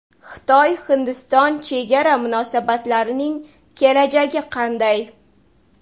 Xitoy-Hindiston chegara munosabatlarining kelajagi qanday?